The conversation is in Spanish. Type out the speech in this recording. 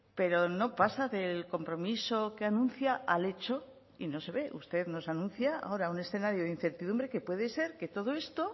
pero no pasa del compromiso que anuncia al hecho y no se ve usted nos anuncia ahora un escenario de incertidumbre que puede ser que todo esto